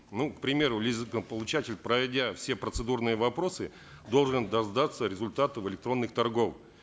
ну к примеру лизингополучатель пройдя все процедурные вопросы должен дождаться результатов электронных торгов